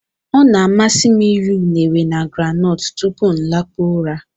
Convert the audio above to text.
Ọ na-amasị m iri unere na groundnut tupu m lakpuo ụra.